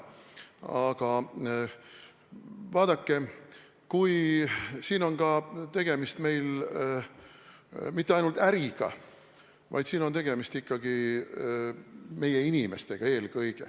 Aga vaadake, siin pole meil tegemist mitte ainult äriga, vaid siin on tegemist ikkagi eelkõige meie inimestega.